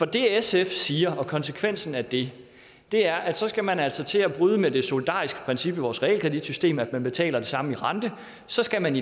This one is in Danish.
det sf siger og konsekvensen af det er at så skal man altså til at bryde med det solidariske princip i vores realkreditsystem altså at man betaler det samme i rente så skal man